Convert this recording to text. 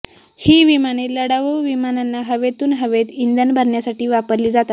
ही विमाने लढाऊ विमानांना हवेतून हवेत इंधन भरण्यासाठी वापरली जातात